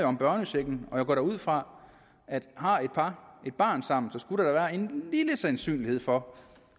om børnechecken og jeg går da ud fra at har et par et barn sammen så skulle der være en lille sandsynlighed for